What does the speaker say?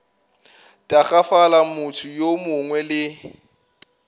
tagafala motho yo mongwe le